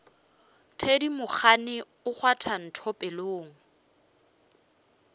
thedimogane o kgwatha ntho pelong